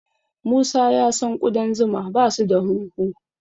Musa ya san ƙudan zuma basu da hunhu.